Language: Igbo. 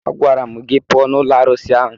Agwara m gị pụọ n'ụlọ arụsị ahụ!